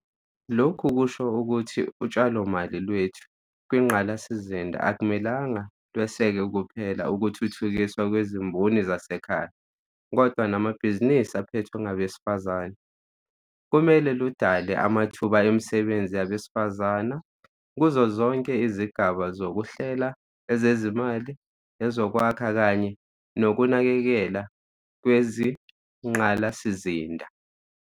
Lokhu kusho ukuthi utshalomali lwethu kwingqalasizinda akumele lweseke kuphela ukuthuthukiswa kwezimboni zasekhaya, kodwa namabhizinisi aphethwe ngabesifazana. Kumele ludale amathuba emisebenzi yabesifazane kuzozonke izigaba zoku hlela, ezezimali, ezokwakha kanye nokunakekelwa kwezingqalasizinda.